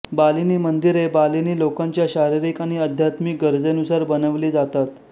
बालिनी मंदिरे बालीनी लोकांच्या शारीरिक आणि आध्यात्मिक गरजेनुसार बनवली जातात